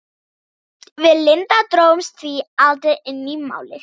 Við Linda drógumst því aldrei inn í Málið.